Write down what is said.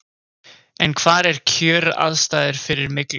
En hvar eru kjöraðstæður fyrir myglu?